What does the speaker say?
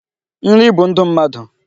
Nri bụ ndụ mmadụ.